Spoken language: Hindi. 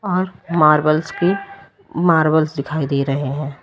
और मार्बल्स की मार्बल्स दिखाई दे रहे है।